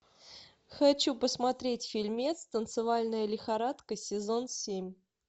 хочу посмотреть фильмец танцевальная лихорадка сезон семь